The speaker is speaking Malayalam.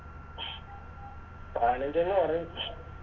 പാനഞ്ചേന്ന് പറഞ്ഞ്